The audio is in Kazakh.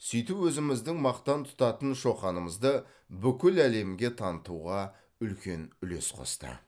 сөйтіп өзіміздің мақтан тұтатын шоқанымызды бүкіл әлемге танытуға үлкен үлес қосты